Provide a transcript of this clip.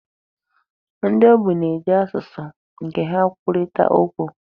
Ndi ogbi na-eji asụsụ nke ha kwurịtaa okwu.